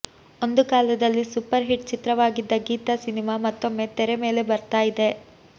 ಒಂದು ಕಾಲದಲ್ಲಿ super hit ಚಿತ್ರವಾಗಿದ್ದ ಗೀತಾ ಸಿನಿಮಾ ಮತ್ತೊಮ್ಮೆ ತೆರೆ ಮೇಲೆ ಬರ್ತಾ ಇದೆ